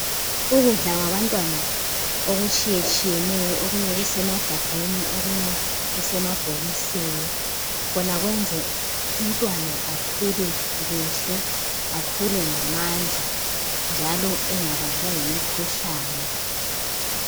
Ukudla kwabantwana okutshiyetshiyeneyo okunye kusemagabheni, okunye kusemabhokosini. Khona kwenza umntwana akhule kuhle, akhule ngamandla njalo engabanjwa yimikhuhlane.